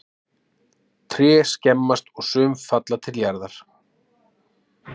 Tré skemmast og sum falla til jarðar.